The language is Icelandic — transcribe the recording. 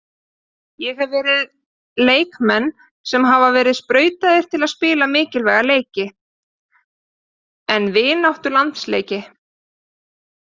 Ég hef verið leikmenn sem hafa verið sprautaðir til að spila mikilvæga leiki, en vináttulandsleiki?